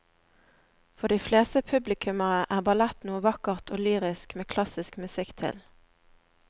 For de fleste publikummere er ballett noe vakkert og lyrisk med klassisk musikk til.